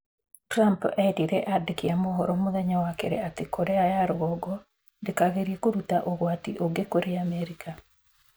Trump eerire andĩki a mohoro mũthenya wa keerĩ atĩ Korea ya rũgongo ndĩkagerie kũruta ũgwati ũngĩ kũrĩ Amerika.